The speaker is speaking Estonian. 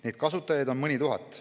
Neid kasutajaid on mõni tuhat.